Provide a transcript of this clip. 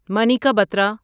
Manika Batra